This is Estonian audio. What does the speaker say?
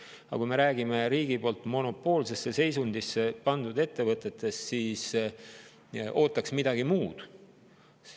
Aga kui me räägime riigi poolt monopoolsesse seisundisse pandud ettevõtetest, siis ootaks midagi muud.